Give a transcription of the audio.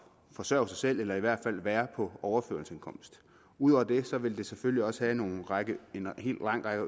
forsørge sig selv eller i hvert fald være på overførselsindkomst ud over det vil det selvfølgelig også have en lang række